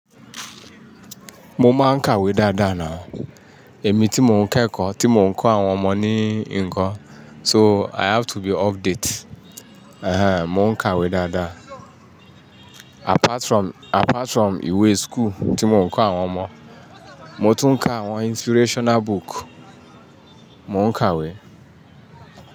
Mo máa ń kàwé dáadáa náu èmi tí mò ń kẹ́kọ̀ọ́, tí mò ń kọ́ àwọn ọmọ ní ǹkan, so i have to be update. Ehen, mò ń kàwé dáadáa. Apart from, apart from ìwé school tí mò ń kọ́ àwọn ọmọ, mo tún ń ka àwọn inspirational book, mò ń kàwé.